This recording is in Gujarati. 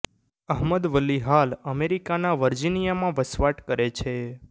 અહમદ વલી હાલ અમેરિકાના વર્જિનિયામાં વસવાટ કરે છે